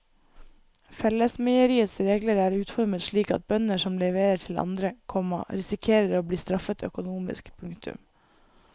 Fellesmeieriets regler er utformet slik at bønder som leverer til andre, komma risikerer å bli straffet økonomisk. punktum